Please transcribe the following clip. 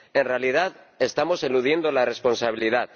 En realidad, estamos eludiendo la responsabilidad.